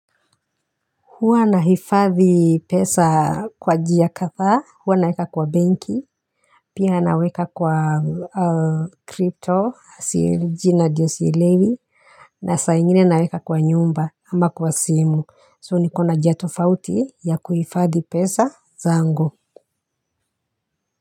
Huwa nahifadhi pesa kwa njia kathaa, huwa naweka kwa benki, pia naweka kwa crypto, jina ndio sielewi, na saa ingine naweka kwa nyumba ama kwa simu. So nikona njia tofauti ya kuhifadhi pesa zangu.